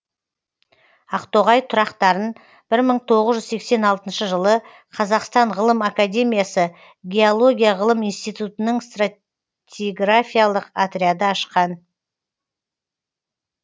ақтоғай тұрақтарын бір мың тоғыз жүз сексен алтыншы жылы қазақстан ғылым академиясы геология ғылым институтының стратиграфиялық отряды ашқан